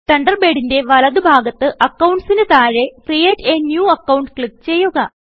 തണ്ടർബേഡിന്റെ വലതു ഭാഗത്ത് അക്കൌണ്ട്സ് ന് താഴെയായി create a new account click ചെയ്യുക